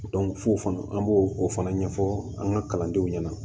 f'o fana an b'o o fana ɲɛfɔ an ka kalandenw ɲɛna